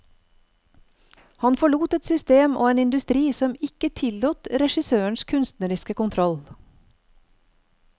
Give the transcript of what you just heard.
Han forlot et system og en industri som ikke tillot regissøren kunstnerisk kontroll.